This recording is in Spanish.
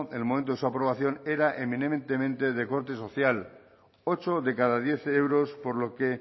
el momento de su aprobación era eminentemente de corte social ocho de cada diez euros por lo que